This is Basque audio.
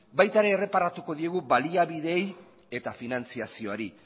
baita ere erreparatuko diogu baliabideei eta finantziazioari